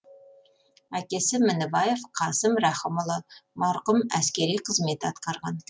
әкесі мінібаев қасым рахымұлы марқұм әскери қызмет атқарған